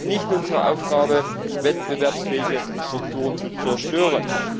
Es ist nicht unsere Aufgabe, wettbewerbsfähige Strukturen zu zerstören.